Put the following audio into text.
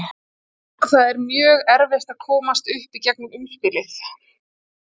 Það er mjög erfitt að komast upp í gegnum umspilið.